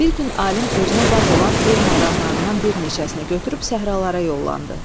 Bir gün alim özünə bab olan elm adamlarından bir neçəsini götürüb səhralara yollandı.